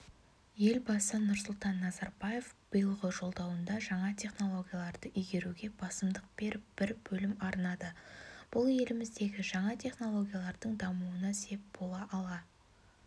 елбасы нұрсұлтан назарбаев биылғы жолдауында жаңа технологияларды игеруге басымдық беріп бір бөлім арнады бұл еліміздегі жаңа технологиялардың дамуына сеп бола ала